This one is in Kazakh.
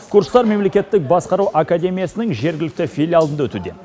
курстар мемлекеттік басқару академиясының жергілікті филиалында өтуде